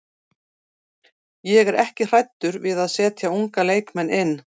Ég er ekki hræddur við að setja unga leikmenn inn.